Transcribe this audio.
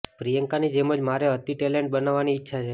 પ્રિયંકાની જેમ જ મારે અતિ ટેલેન્ટેડ બનવાની ઇચ્છા છે